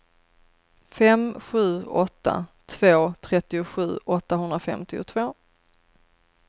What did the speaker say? fem sju åtta två trettiosju åttahundrafemtiotvå